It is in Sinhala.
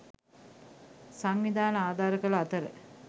සංවිධාන ආධාර කළ අතර